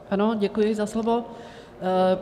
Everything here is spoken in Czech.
Ano, děkuji za slovo.